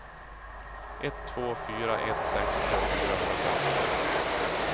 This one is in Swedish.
ett två fyra ett sextio fyrahundrafemton